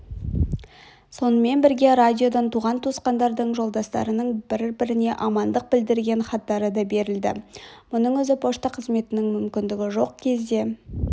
сонымен бірге радиодан туған-туысқандардың жолдастардың бір-біріне амандық білдірген хаттары да берілді мұның өзі пошта қызметінің мүмкіндігі жоқ кезде